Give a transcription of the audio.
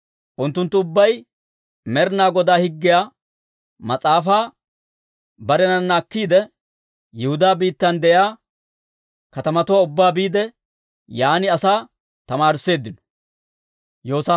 Unttunttu ubbay Med'inaa Godaa Higgiyaa Mas'aafaa barenana akkiide, Yihudaa biittan de'iyaa katamatuwaa ubbaa biide, yaan asaa tamaarisseeddino.